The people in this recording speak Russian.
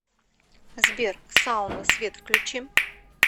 сбер сауна свет включи